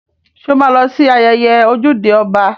Sọ ma lọ sí ayẹyẹ ojúde ọba?